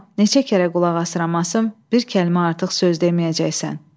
Amma neçə kərə qulaq asıram asım, bir kəlmə artıq söz deməyəcəksən.